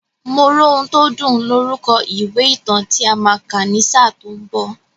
Moróhuntódùn lorúkọ ìwé ìtàn tí a máa kà ní sáà tó ń bọ̀.